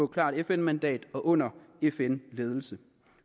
klart fn mandat og under fn ledelse